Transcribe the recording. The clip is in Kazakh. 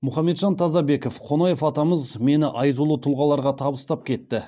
мұхамеджан тазабеков қонаев атамыз мені айтулы тұлғаларға табыстап кетті